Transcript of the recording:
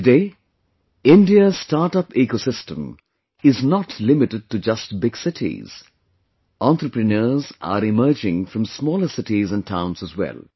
Today, India's startup ecosystem is not limited to just big cities; entrepreneurs are emerging from smaller cities and towns as well